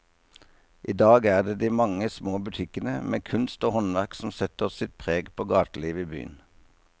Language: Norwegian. I dag er det de mange små butikkene med kunst og håndverk som setter sitt preg på gatelivet i byen.